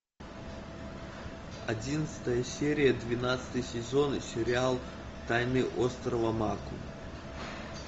одиннадцатая серия двенадцатый сезон сериал тайны острова мако